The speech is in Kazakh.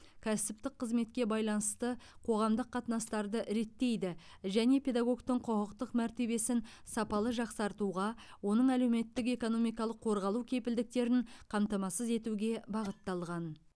кәсіптік қызметке байланысты қоғамдық қатынастарды реттейді және педагогтың құқықтық мәртебесін сапалы жақсартуға оның әлеуметтік экономикалық қорғалу кепілдіктерін қамтамасыз етуге бағытталған